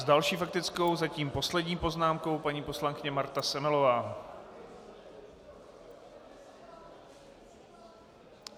S další faktickou zatím poslední poznámkou paní poslankyně Marta Semelová.